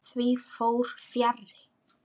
Því fór fjarri.